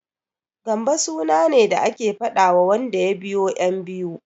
Gambo suna ne da ake faɗawa wanda ya biyo ƴan biyu.